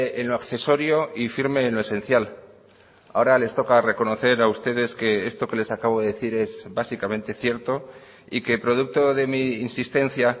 en lo accesorio y firme en lo esencial ahora les toca reconocer a ustedes que esto que les acabo de decir es básicamente cierto y que producto de mi insistencia